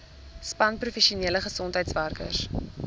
span professionele gesondheidswerkers